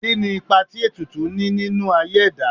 Kí ni ipa tí ètùtù ní nínú aye ẹ̀dá?